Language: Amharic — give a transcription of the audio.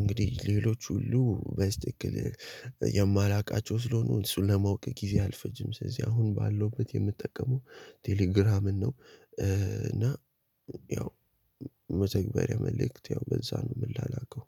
እንግዲህ ሌሎች ሁሉ በስትክክል የማላውቃቸው ስለሆኑ እሱን ለማወቅ ጊዜ አልፈጅም። ስለዚህ አሁን ባለውበት የምጠቀመው ቴሌግራምን ነው። እና ያው መተግበሪያ መልእክት በሷ ነው። የምላላከው